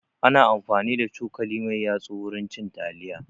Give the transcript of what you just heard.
Ana amfani da cokali mai yatsu wurin cin taliya